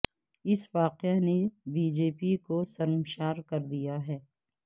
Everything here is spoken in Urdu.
اس واقعہ نے بی جے پی کو شرمسار کر دیا ہے